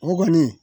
O kɔni